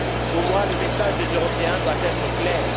Pour moi, le message des Européens doit être clair.